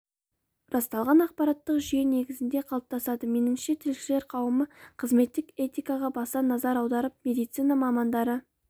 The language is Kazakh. расталған ақпараттық жүйе негізінде қалыптасады меніңше тілшілер қауымы қызметтік этикаға баса назар аударып медицина мамандары